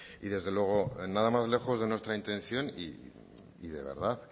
y desde luego nada más lejos de nuestra intención y de verdad